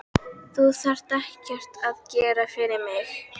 Þú þarft ekkert að gera fyrir mig.